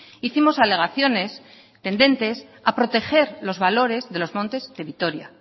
hicimos alegaciones tendentes a proteger los valores de los montes de vitoria